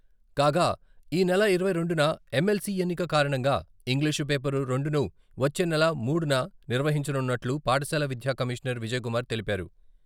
కాగా ఈ నెల ఇరవై రెండున ఎమ్ఎల్‌సి ఎన్నిక కారణంగా ఇంగ్లీషు పేపర్ రెండును వచ్చే నెల మూడున నిర్వహించనున్నట్లు పాఠశాల విద్యా కమిషనర్ విజయకుమార్ తెలిపారు.